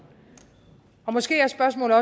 måske er spørgsmålet